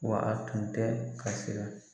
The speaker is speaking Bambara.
Wa a tun tɛ ka sira.